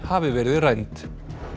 hafi verið rænd